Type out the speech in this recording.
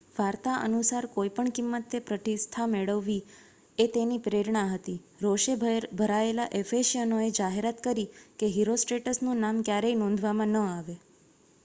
વાર્તા અનુસાર કોઈપણ કિંમતે પ્રતિષ્ઠા મેળવવી એ તેની પ્રેરણા હતી રોષે ભરાયેલા એફેસિયનોએ જાહેરાત કરી કે હિરોસ્ટ્રેટસનું નામ ક્યારેય નોંધવામાં ન આવે